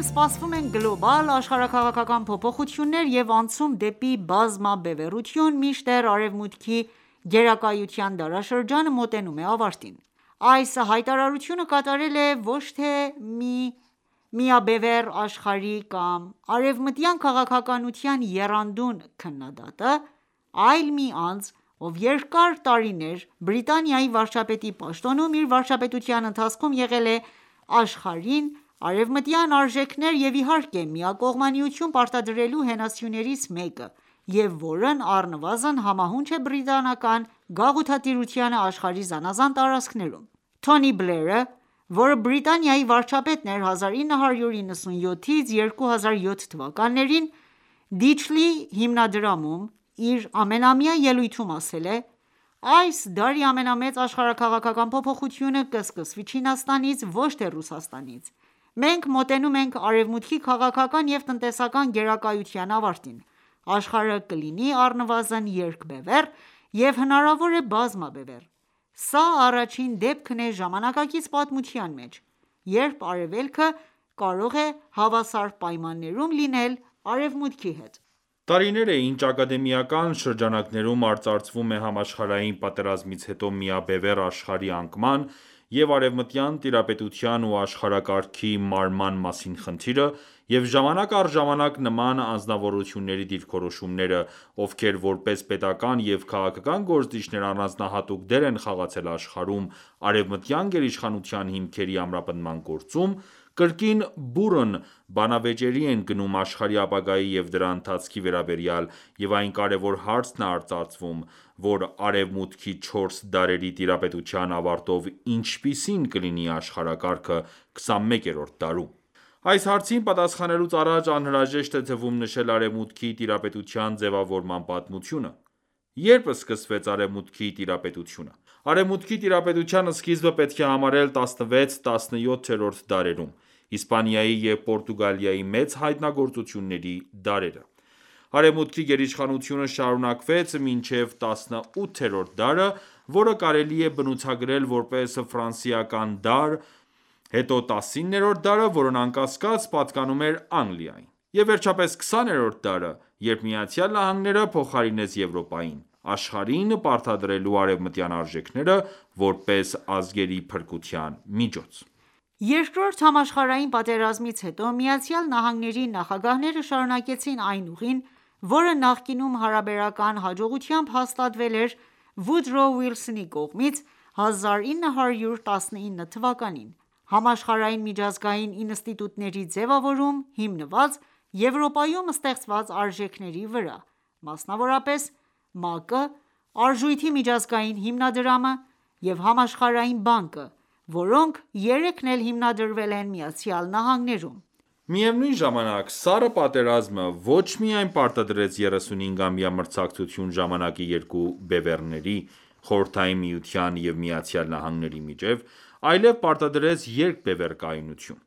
սպասվում են գլոբալ աշխարհաքաղաքական փոփոխություններ և անցում դեպի բազմաբևեռություն, մինչդեռ Արևմուտքի գերակայության դարաշրջանը մոտենում է ավարտին: Այս հայտարարությունը կատարել է ոչ թե միաբևեռ աշխարհի կամ արևմտյան քաղաքականության եռանդուն քննադատը, այլ մի անձ, ով երկար տարիներ Բրիտանիայի վարչապետի պաշտոնում իր վարչապետության ընթացքում եղել է աշխարհին արևմտյան արժեքներ և իհարկե միակողմանիություն պարտադրելու հենասյուներից մեկը և, որն առնվազն համահունչ է բրիտանական գաղութատիրությանը աշխարհի զանազան տարածքներում :Թոնի Բլերը, որը Բրիտանիայի վարչապետն էր 1997-2007 թվականներին, Դիչլի հիմնադրամում իր ամենամյա ելույթում ասել է.«Այս դարի ամենամեծ աշխարհաքաղաքական փոփոխությունը կսկսվի Չինաստանից, ոչ թե Ռուսաստանից։ Մենք մոտենում ենք Արեւմուտքի քաղաքական եւ տնտեսական գերակայության ավարտին։ Աշխարհը կլինի առնվազն երկբևեռ և, հնարավոր է, բազմաբևեռ:Սա առաջին դեպքն է ժամանակակից պատմության մեջ, երբ Արևելքը կարող է հավասար պայմաններում լինել Արևմուտքի հետ»:Տարիներ է ինչ ակադեմիական շրջանակներում արծարծվում է Համաշխարհային պատերազմից հետո ,միաբևեռ աշխարհի անկման և արևմտյան տիրապետության ու աշխարհակարգի մարման մասին խնդիրը և ժամանակ առ ժամանակ նման անձնավորությունների դիրքորոշումները, ովքեր որպես պետական ​​և քաղաքական գործիչներ առանձնահատուկ դեր են խաղացել աշխարհում արևմտյան գերիշխանության հիմքերի ամրապնդման գործում, կրկին բուռն բանավեճերի են գնում աշխարհի ապագայի և դրա ընթացքի վերաբերյալ,և այն կարևոր հարցն է արծարծվում ,որ «Արևմուտքի չորս դարերի տիրապետության ավարտով ինչպիսի՞ն կլինի աշխարհակարգը 21-րդ դարում»:Այս հարցին պատասխանելուց առաջ անհրաժեշտ է թվում նշել Արևմուտքի տիրապետության ձևավորման պատմությունը.«Ե՞րբ սկսվեց Արևմուտքի տիրապետությունը։ Արեւմուտքի տիրապետության սկիզբը պետք է համարել 16-17-րդ դարերում։ Իսպանիայի և Պորտուգալիայի մեծ հայտնագործությունների դարերը.:Արևմուտքի գերիշխանությունը շարունակվեց մինչև 18-րդ դարը, որը կարելի է բնութագրել ,որպես ֆրանսիական դար։ Հետո 19-րդը, որն անկասկած պատկանում էր Անգլիային։ Եվ վերջապես 20-րդ դարը, երբ Միացյալ Նահանգները փոխարինեց Եվրոպային՝ աշխարհին պարտադրելու արևմտյան արժեքները՝ որպես ազգերի փրկության միջոց: Երկրորդ համաշխարհային պատերազմից հետո ԱՄՆ-ի նախագահները շարունակեցին այն ուղին, որը նախկինում հարաբերական հաջողությամբ հաստատվել էր Վուդրո Վիլսոնի կողմից 1919 թվականին.«Համաշխարհային միջազգային ինստիտուտների ձևավորում՝ հիմնված Եվրոպայում ստեղծված արժեքների վրա:Մասնավորապես, ՄԱԿ-ը, Արժույթի միջազգային հիմնադրամը և Համաշխարհային բանկը, որոնք երեքն էլ հիմնադրվել են ԱՄՆ-ում»։ Միևնույն ժամանակ, Սառը պատերազմը ոչ միայն պարտադրեց 35 ամյա մրցակցություն ժամանակի երկու բևեռների՝ Խորհրդային Միության և ԱՄՆ-ի միջև, այլև պարտադրեց երկբևեռ կայունություն։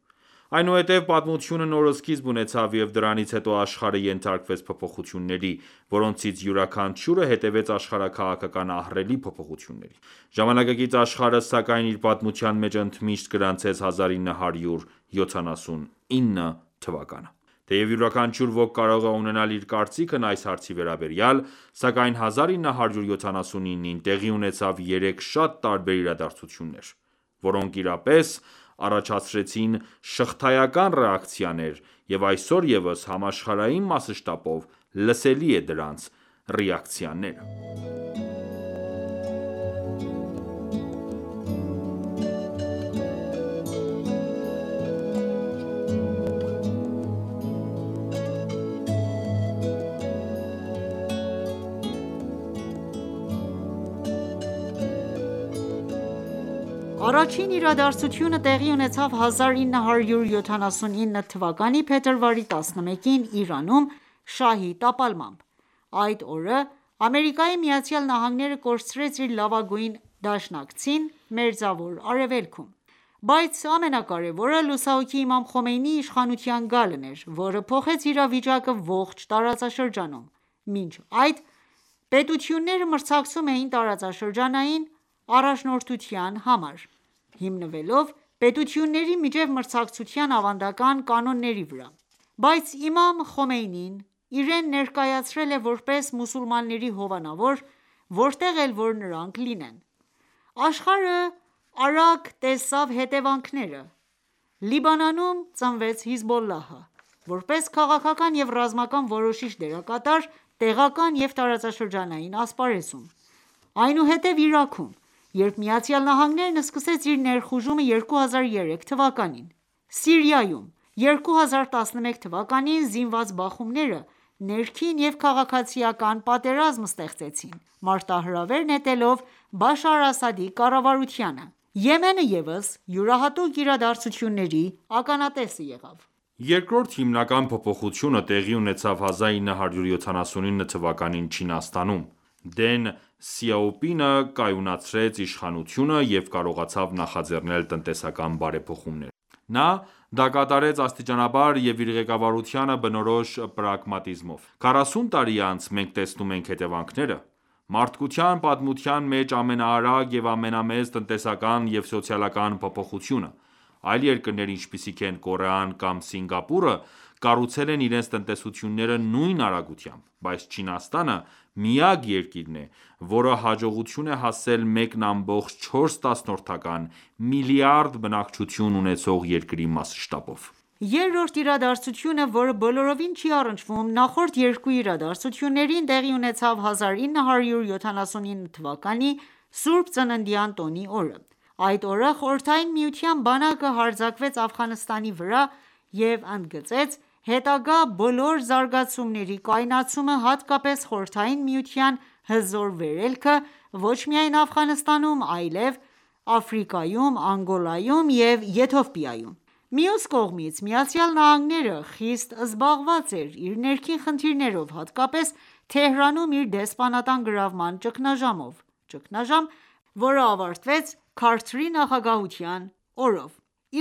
Այնուհետև պատմությունը նոր սկիզբ ունեցավ, և դրանից հետո աշխարհը ենթարկվեց փոփոխությունների, որոնցից յուրաքանչյուրը հետևեց աշխարհաքաղաքական ահռելի փոփոխությունների։ Ժամանակակից աշխարհը, սակայն, իր պատմության մեջ ընդմիշտ գրանցեց 1979 թվականը:Թեև յուրաքանչյուր ոք կարող է ունենալ իր կարծիքն այս հարցի վերաբերյալ, սակայն 1979-ին տեղի ունեցավ երեք շատ տարբեր իրադարձություններ, որոնք իրապես առաջացրեցին շղթայական ռեակցիաներ ,և այսօր ևս համաշխարհային մասշտաբով լսելի է դրանց ռեակցիաները: Առաջին իրադարձությունը տեղի ունեցավ 1979 թվականի փետրվարի 11-ին Իրանում՝ շահի տապալմամբ։ Այդ օրը ԱՄՆ-ը կորցրեց իր լավագույն դաշնակցին Մերձավոր Արևելքում:Բայց ամենակարեւորը՝ լուսահոգի Իմամ Խոմեյնիի իշխանության գալն էր, որը փոխեց իրավիճակը ողջ տարածաշրջանում։ Մինչ այդ, պետությունները մրցակցում էին տարածաշրջանային առաջնորդության համար՝ հիմնվելով պետությունների միջև մրցակցության ավանդական կանոնների վրա:Բայց Իմամ Խոմեյնին իրեն ներկայացել է ,որպես մուսուլմանների հովանավոր որտեղ էլ որ նրանք լինեն։ Աշխարհը արագ տեսավ հետևանքները, Լիբանանում ծնվեց Հեզբոլլահը, որպես քաղաքական և ռազմական որոշիչ դերակատար տեղական և տարածաշրջանային ասպարեզում:Այնուհետև Իրաքում, երբ ԱՄՆ-ն սկսեց իր ներխուժումը 2003թվականին: Սիրիայում 2011թ.՝ զինված խմբավորումները ներքին և քաղաքացիական պատերազմ ստեղծեցին ՝մարտահրավեր նետելով Բաշար Ասադի կառավարությանը:Եմենը ևս յուրահատուկ իրադարձությունների ականատեսը եղավ: Երկրորդ հիմնական փոփոխությունը տեղի ունեցավ 1979 թվականին Չինաստանում: Դեն Սյաոպինը կայունացրեց իշխանությունը և կարողացավ նախաձեռնել տնտեսական բարեփոխումներ:Նա, դա կատարեց աստիճանաբար և իր ղեկավարությանը բնորոշ պրագմատիզմով:Քառասուն տարի անց մենք տեսնում ենք հետևանքները՝, մարդկության պատմության մեջ ամենաարագ և ամենամեծ տնտեսական և սոցիալական փոփոխությունը։ Այլ երկրներ, ինչպիսիք են՝ Կորեան կամ Սինգապուրը, կառուցել են իրենց տնտեսությունները նույն արագությամբ:Բայց Չինաստանը միակ երկիրն է, որը հաջողության է հասել 1,4 միլիարդ բնակչություն ունեցող երկրի մասշտաբով: Երրորդ իրադարձությունը, որը բոլորովին չի առնչվում նախորդ երկու իրադարձություններին, տեղի ունեցավ 1979 թվականի Սուրբ Ծննդյան տոնի օրը:Այդ օրը Խորհրդային միության բանակը հարձակվեց Աֆղանստանի վրա և ընդգծեց հետագա բոլոր զարգացումների կայունացումը, հատկապես Խորհրդային Միության հզոր վերելքը ոչ միայն Աֆղանստանում, այլև Աֆրիկայում, Անգոլայում և Եթովպիայում։ Մյուս կողմից ԱՄՆ-ը խիստ զբաղված էր իր ներքին խնդիրներով ,հատկապես Թեհրանում իր դեսպանատան գրավման ճգնաժամով, ճգնաժամ ,որը ավարտվեց Քարթերի նախագահության գնով: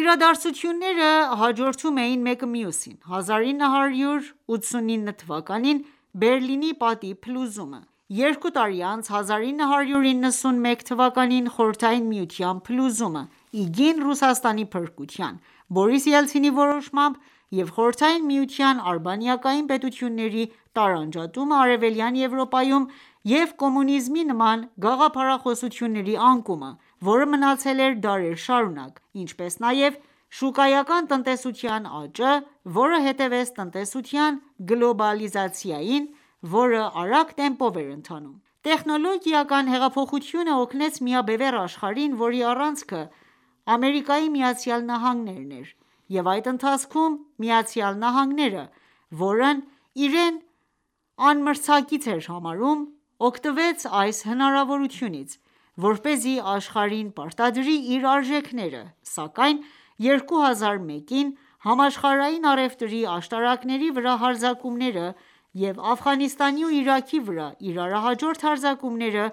Իրադարձությունները հաջորդում էին մեկը մյուսին՝1989 թվականին Բերլինի պատի փլուզումը, երկու տարի անց՝1991 թվականին խորհրդային միության փլուզումը ,իգին Ռուսաստանի փրկության ՝Բորիս Ելցինի որոշմամաբ և Խորհրդային Միության արբանյակային պետությունների տարանջատումը Արևելյան Եվրոպայում և կոմունիզմի նման գաղափարախոսությունների անկումը, որը մնացել էր դարեր շարունակ, ինչպես նաև շուկայական տնտեսության աճը, որը հետևեց տնտեսության գլոբալիզացիային, որը արագ տեմպով էր ընթանում: Տեխնոլոգիական հեղափոխությունը օգնեց միաբևեռ աշխարհին, որի առանցքը ԱՄՆ-ն էր, և այդ ընթացքում ԱՄՆ-ը, որն իրեն անմրցակից էր համարում, օգտվեց այս հնարավորությունից, որպեսզի աշխարհին պարտադրի իր արժեքները ,սակայն 2001-ին Համաշխարհային առևտրի աշտարակների վրա հարձակումները և Աֆղանստանի ու Իրաքի վրա իրարահաջորդ հարձակումները,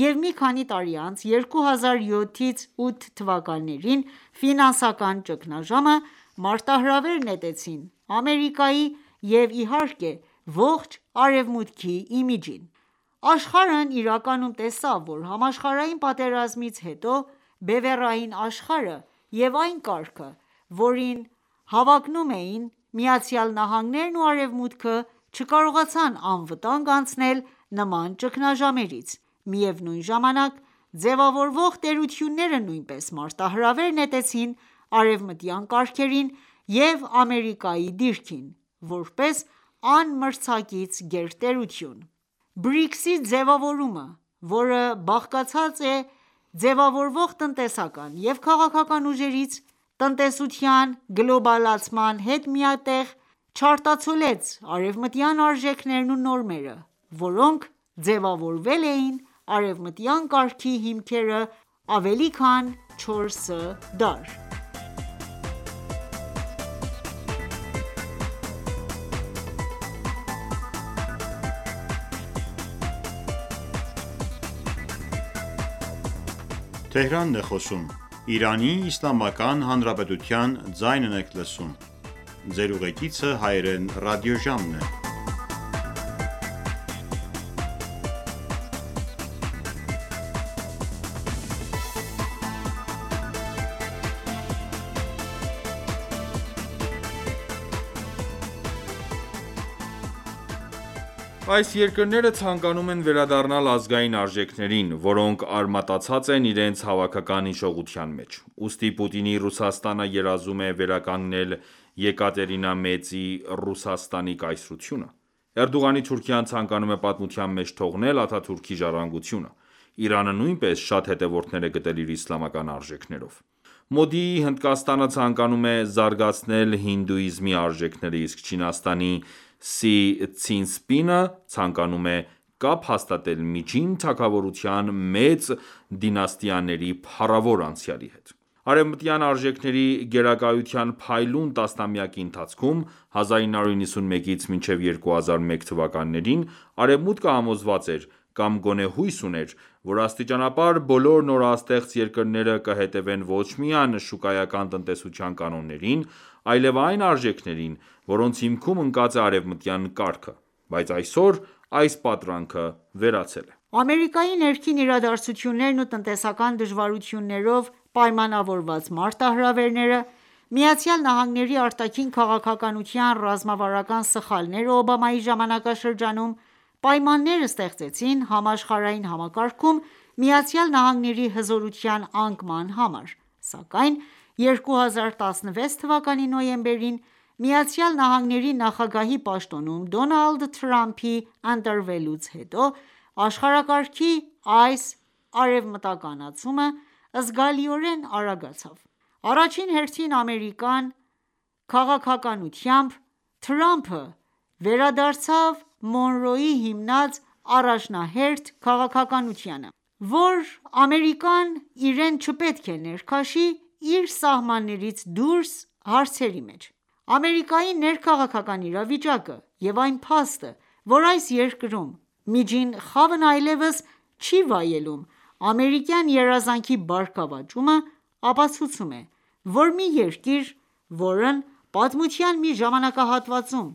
և մի քանի տարի անց 2007-2008 թվականների ֆինանսական ճգնաժամը, մարտահրավեր նետեցին Ամերիկայի և, իհարկե, ողջ Արևմուտքի իմիջին:Աշխարհն իրականում տեսավ, որ համաշխարհային պատերազմից հետո բևեռային աշխարհը և այն կարգը, որին հավակնում էին ԱՄՆ-ն ​​ու Արևմուտքը, չկարողացան անվտանգ անցնել նման ճգնաժամերից։ Միևնույն ժամանակ, ձևավորվող տերությունները նույնպես մարտահրավեր նետեցին արևմտյան կարգերին և Ամերիկայի դիրքին, որպես անմրցակից գերտերություն:BRICS-ի ձևավորումը, որը բաղկացած է ձևավորվող տնտեսական և քաղաքական ուժերից, տնտեսության գլոբալացման հետ մեկտեղ, չարտացոլեց արևմտյան արժեքներն ու նորմերը, որոնք ձևավորել էին արևմտյան կարգի հիմքերը ավելի քան 4 դար: Այս երկրները ցանկանում են վերադառնալ ազգային արժեքներին, որոնք արմատացած են իրենց հավաքական հիշողության մեջ։ Ուստի Պուտինի Ռուսաստանը երազում է վերականգնել Եկատերինա Մեծի Ռուսաստանի կայսրությունը։ Էրդողանի Թուրքիան ցանկանում է պատմության մեջ թողնել Աթաթուրքի ժառանգությունը:Իրանը նույնպես շատ հետևորդներ է գտել իր իսլամական արժեքներով:Մոդիի Հնդկաստանը ցանկանում է զարգացնել հինդուիզմի արժեքները, իսկ Չինաստանի Սի Ցզինպինը ցանկանում է կապ հաստատել Միջին Թագավորության մեծ դինաստիաների փառավոր անցյալի հետ:Արևմտյան արժեքների գերակայության փայլուն տասնամյակի ընթացքում՝ 1991-2001 թվականներին, արևմուտքը համոզված էր, կամ գոնե հույս ուներ, որ աստիճանաբար բոլոր նորաստեղծ երկրները կհետևեն ոչ միայն շուկայական տնտեսության կանոններին, այլև այն արժեքներին, որոնց հիմքում ընկած է արևմտյան կարգը:Բայց այսօր այս պատրանքը վերացել է։ Ամերիկայի ներքին իրադարձություններն ու տնտեսական դժվարություններով պայմանավորված մարտահրավերները, ԱՄՆ արտաքին քաղաքականության ռազմավարական սխալները Օբամայի ժամանակաշրջանում, պայմաններ ստեղծեցին համաշխարհային համակարգում ԱՄՆ-ի հզորության անկման համար, սակայն 2016 թվականի նոյեմբերին ԱՄՆ նախագահի պաշտոնում Դոնալդ Թրամփի ընտրվելուց հետո աշխարհակարգի այս «արևմտականացումը» զգալիորեն արագացավ։«Առաջին հերթին Ամերիկան» քաղաքականությամբ ,Թրամփը վերադարձավ Մոնրոյի հիմնած առաջնահերթ քաղաքականությանը.«Որ Ամերիկան ​​իրեն չպետք է ներքաշի իր սահմաններից դուրս հարցերի մեջ։ Ամերիկայի ներքաղաքական իրավիճակը և այն փաստը, որ այս երկրում միջին խավն այլևս չի վայելում «Ամերիկյան երազանքի» բարգավաճումը, ապացուցում է, որ մի երկիր, որն պատմության մի ժամանակահատվածում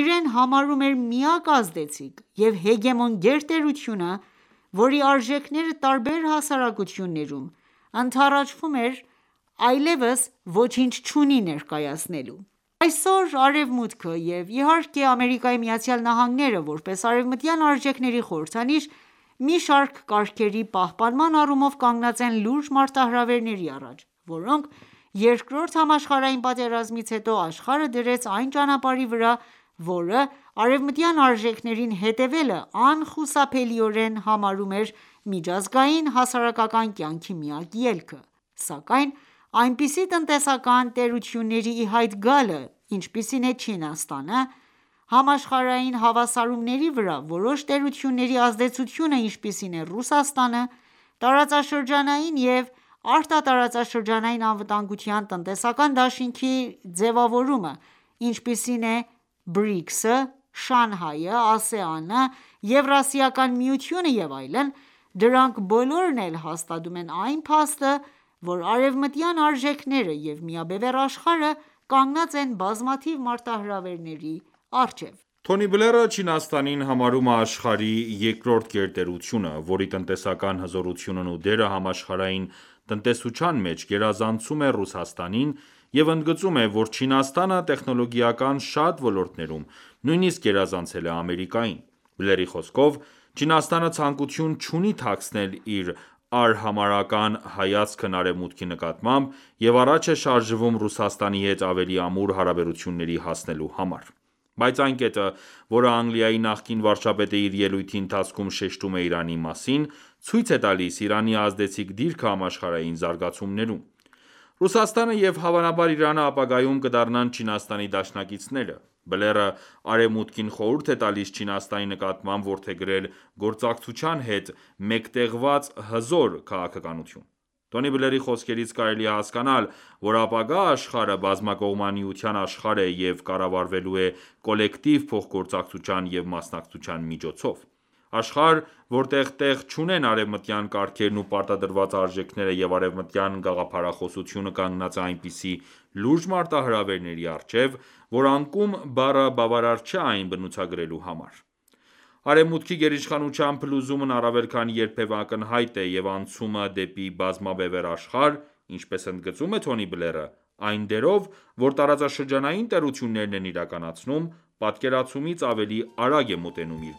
իրեն համարում էր միակ ազդեցիկ և հեգեմոն գերտերությունը, որի արժեքները տարբեր հասարակություններում, ընդառաջվում էր այլևս ոչինչ չունի ներկայացնելու:Այսօր Արևմուտքը և, իհարկե, ԱՄՆ-ը, որպես արևմտյան արժեքների խորհրդանիշ, մի շարք կարգերի պահպանման առումով կանգնած են լուրջ մարտահրավերների առաջ՝ որոնք Երկրորդ համաշխարհային պատերազմից հետո աշխարհը դրեց այն ճանապարհի վրա, որը արևմտյան արժեքներին հետևելը անխուսափելիորեն համարում էր ՝ միջազգային հասարակական կյանքի միակ ելքը :Սակայն այնպիսի տնտեսական տերությունների ի հայտ գալը, ինչպիսին է Չինաստանը, համաշխարհային հավասարումների վրա որոշ տերությունների ազդեցությունը, ինչպիսին է Ռուսաստանը, տարածաշրջանային և արտատարածաշրջանային անվտանգության տնտեսական դաշինքների ձևավորումը, ինչպիսիք են BRICS-ը, Շանհայը, Ա.ՍԵ.ԱՆ-ը, Եվրասիական միությունը և այլն, դրանք բոլորն էլ հաստատում են այն փաստը, որ արևմտյան արժեքները և միաբևեռ աշխարհը կանգնած են բազմաթիվ մարտահրավերների առաջ:Թոնի Բլերը Չինաստանին համարում է աշխարհի երկրորդ գերտերությունը, որի «տնտեսական հզորությունն ու դերը համաշխարհային տնտեսության մեջ գերազանցում է Ռուսաստանին և ընդգծում է, որ «Չինաստանը տեխնոլոգիական շատ ոլորտներում նույնիսկ գերազանցել է Ամերիկային։ Բլերի խոսքով՝ «Չինաստանը ցանկություն չունի թաքցնել իր արհամարհական հայացքն Արևմուտքի նկատմամբ և առաջ է շարժվում Ռուսաստանի հետ ավելի ամուր հարաբերությունների հասնելու համար։ Բայց այն կետը, որը Անգլիայի նախկին վարչապետը իր ելույթի ընթացքում շեշտում է Իրանի մասին, ցույց է տալիս Իրանի ազդեցիկ դիրքը համաշխարհային զարգացումներում.«Ռուսաստանը և հավանաբար Իրանը ապագայում կդառնան Չինաստանի դաշնակիցները»: Բլերը Արևմուտքին խորհուրդ է տալիսՉինաստանի նկատմամբ որդեգրել «գործակցության հետ մեկտեղված հզոր» քաղաքականություն:Թոնի Բլերի խոսքերից կարելի է հասկանալ, որ ապագա աշխարհը բազմակողմանիության աշխարհ է և կառավարվելու է կոլեկտիվ փոխգործակցության և մասնակցության միջոցով:Աշխարհ, որտեղ տեղ չունեն արևմտյան կարգերն ու պարտադրված արժեքները և արեւմտյան գաղափարախոսությունը կանգնած է այնպիսի լուրջ մարտահրավերների առջեւ, որ «անկում» բառը բավարար չէ այն բնութագրելու համար։ Արեւմուտքի գերիշխանության փլուզումն առավել քան երբեւէ ակնհայտ է և«անցումը դեպի բազմաբևեռ աշխարհ», ինչպես ընդգծում է Թոնի Բլերը, այն դերով ,որ տարածաշրջանային տերություններն են իրականացնում, պատկերացումից ավելի արագ է մոտենում իր